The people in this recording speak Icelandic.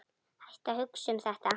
Hættu að hugsa um þetta.